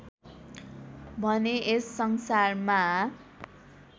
भने यस संसारमा